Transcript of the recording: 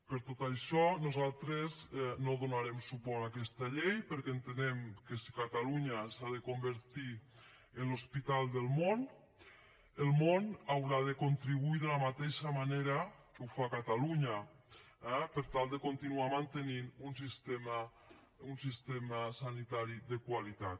per tot això nosaltres no donarem suport a aquesta llei perquè entenem que si catalunya s’ha de convertir en l’hospital del món el món haurà de contribuir de la mateixa manera que ho fa catalunya eh per tal de continuar mantenint un sistema sanitari de qualitat